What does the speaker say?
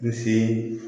Misi